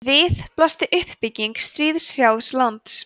við blasti uppbygging stríðshrjáðs lands